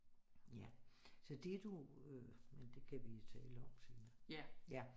Ja så det du øh men det kan vi tale om senere